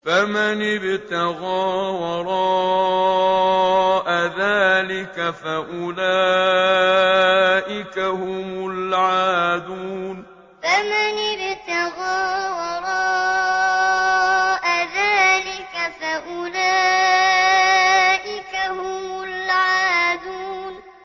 فَمَنِ ابْتَغَىٰ وَرَاءَ ذَٰلِكَ فَأُولَٰئِكَ هُمُ الْعَادُونَ فَمَنِ ابْتَغَىٰ وَرَاءَ ذَٰلِكَ فَأُولَٰئِكَ هُمُ الْعَادُونَ